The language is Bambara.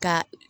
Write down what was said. Ka